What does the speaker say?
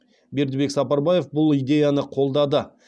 бердібек сапарбаев бұл идеяны қолдады